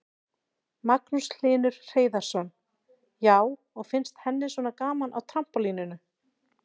Magnús Hlynur Hreiðarsson: Já, og finnst henni svona gaman á trampólíninu?